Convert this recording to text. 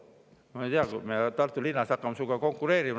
" Ma ei tea, me Tartu linnas hakkame sinuga konkureerima.